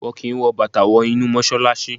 Wọ́n kí n wọ Bàtà wọ inú Mọ́ṣálásí.